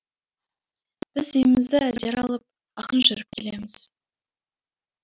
біз демімізді әзер алып ақырын жүріп келеміз